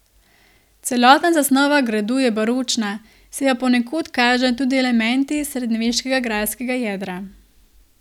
Celotna zasnova gradu je baročna, se pa ponekod kažejo tudi elementi srednjeveškega grajskega jedra.